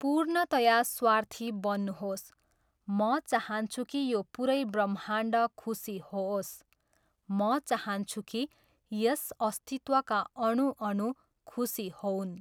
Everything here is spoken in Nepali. पूर्णतया स्वार्थी बन्नुहोस्, म चाहन्छु कि यो पुरै ब्रह्माण्ड खुसी होओस्, म चाहन्छु कि यस अस्तित्वका अणु अणु खुसी होऊन्।